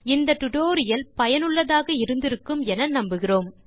இந்த டுடோரியல் சுவாரசியமாகவும் பயனுள்ளதாகவும் இருந்திருக்கும் என நம்புகிறேன்